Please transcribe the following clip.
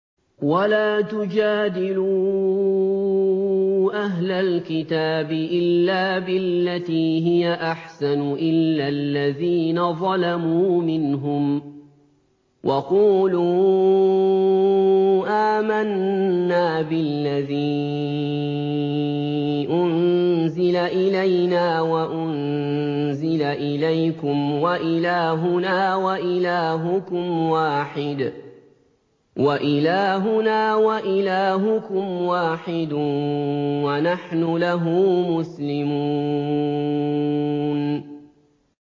۞ وَلَا تُجَادِلُوا أَهْلَ الْكِتَابِ إِلَّا بِالَّتِي هِيَ أَحْسَنُ إِلَّا الَّذِينَ ظَلَمُوا مِنْهُمْ ۖ وَقُولُوا آمَنَّا بِالَّذِي أُنزِلَ إِلَيْنَا وَأُنزِلَ إِلَيْكُمْ وَإِلَٰهُنَا وَإِلَٰهُكُمْ وَاحِدٌ وَنَحْنُ لَهُ مُسْلِمُونَ